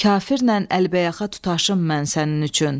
Kafirlə əlbəyaxa tutaşım mən sənin üçün.